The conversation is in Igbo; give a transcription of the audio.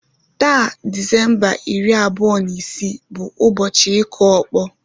Taa na Disemba iri abụọ na isii bụ ụbọchị ịkụ ọkpọ